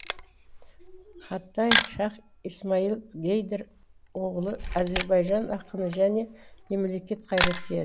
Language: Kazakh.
хатай шаһ исмаил гейдар оғлы азербайжан ақыны және мемлекет қайраткері